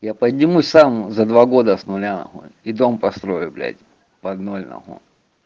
я поднимусь сам за два года с ноля и дом построю блядь погнали на хуй